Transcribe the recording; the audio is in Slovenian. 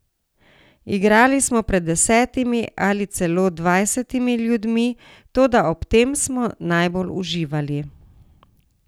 Igrali smo pred desetimi ali celo dvajsetimi ljudmi, toda ob tem smo najbolj uživali.